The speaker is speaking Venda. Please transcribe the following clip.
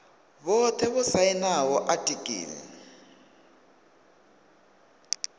vhothe vho sainaho atiki ḽi